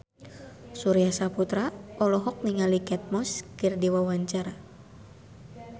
Surya Saputra olohok ningali Kate Moss keur diwawancara